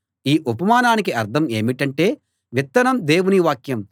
ఈ ఉపమానానికి అర్థం ఏమిటంటే విత్తనం దేవుని వాక్యం